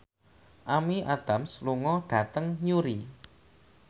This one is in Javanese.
Amy Adams lunga dhateng Newry